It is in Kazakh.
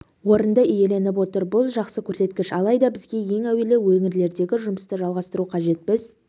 орынды иеленіп отыр бұл жақсы көрсеткіш алайда бізге ең әуелі өңірлердегі жұмысты жалғастыру қажет біз